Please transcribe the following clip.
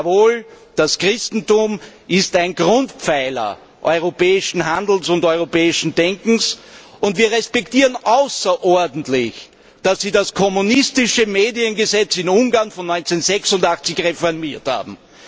Jawohl, das Christentum ist ein Grundpfeiler europäischen Handelns und europäischen Denkens und wir respektieren außerordentlich, dass Sie das kommunistische Mediengesetz in Ungarn von 1986 reformiert haben.